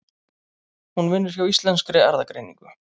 Hún vinnur hjá Íslenskri erfðagreiningu.